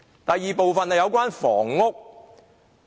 第二部分是有關房屋。